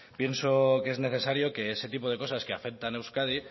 pienso que es necesario que ese tipo de cosas que afectan a euskadi